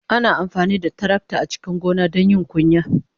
Ana amfani da tarakta a cikin gona don yin kunya.